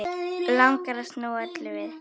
Langar að snúa öllu við.